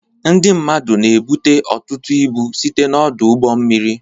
Ndị mmadụ na ebubata ọtụtụ ibu site na ọdụ ụgbọ mmiri.